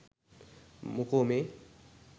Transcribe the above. මොකෝ මේ